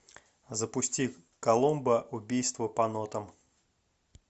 запусти коломбо убийство по нотам